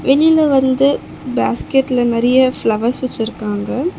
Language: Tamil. வெளில வந்து பேஸ்கட்ல நறைய ஃப்ளவர்ஸ் வச்சிருக்காங்க.